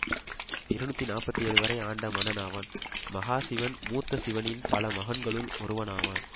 இருநூற்றி நாற்பத்தி ஏழு வரை ஆண்ட மன்னனாவான் மகாசிவன் மூத்தசிவனின் பல மகன்களுள் ஒருவனாவான்